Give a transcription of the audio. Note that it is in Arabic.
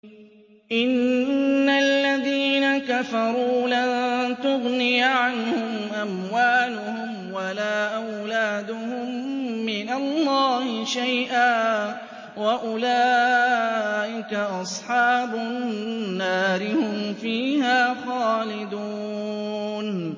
إِنَّ الَّذِينَ كَفَرُوا لَن تُغْنِيَ عَنْهُمْ أَمْوَالُهُمْ وَلَا أَوْلَادُهُم مِّنَ اللَّهِ شَيْئًا ۖ وَأُولَٰئِكَ أَصْحَابُ النَّارِ ۚ هُمْ فِيهَا خَالِدُونَ